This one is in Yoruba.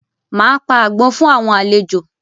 Máa pa àgbọ̀n fún àwọn àlejò